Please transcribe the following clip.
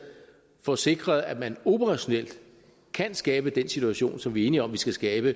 få sikret at man operationelt kan skabe den situation som vi er enige om vi skal skabe